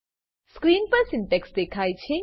screen પર syntax દેખાય છે